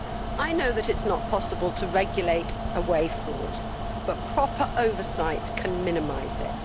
I know that it is not possible to regulate away fraud, but proper oversight can minimise it.